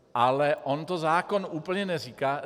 Ale on to zákon úplně neříká.